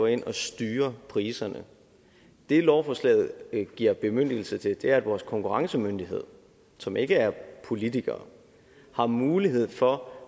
ind og styrer priserne det lovforslaget giver bemyndigelse til er at vores konkurrencemyndighed som ikke er politikere har mulighed for